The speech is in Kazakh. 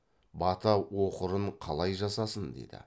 бата оқырын қалай жасасын дейді